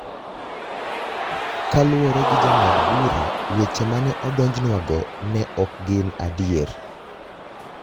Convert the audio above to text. Kaluwore gi jang'ad-bura, weche ma ne odonjnwago ne ok gin adier.